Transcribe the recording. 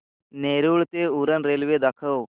नेरूळ ते उरण रेल्वे दाखव